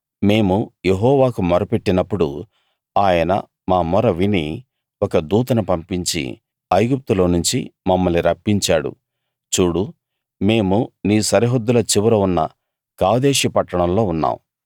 మేము యెహోవాకు మొర్రపెట్టినప్పుడు ఆయన మా మొర విని ఒక దూతను పంపించి ఐగుప్తులోనుంచి మమ్మల్ని రప్పించాడు చూడు మేము నీ సరిహద్దుల చివర ఉన్న కాదేషు పట్టణంలో ఉన్నాం